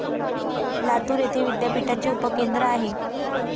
लातूर येथे विद्यापीठाचे उपकेंद्र आहे.